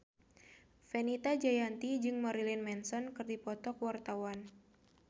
Fenita Jayanti jeung Marilyn Manson keur dipoto ku wartawan